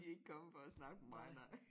De ikke kommet for at snakke med mig nej